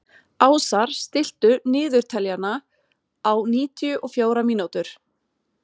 Ásar, stilltu niðurteljara á níutíu og fjórar mínútur.